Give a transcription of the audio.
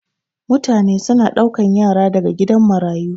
mutane suna daukan Yara daga gidan marayu